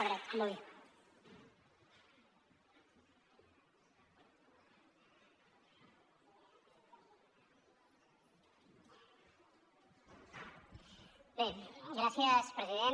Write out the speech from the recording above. bé gràcies president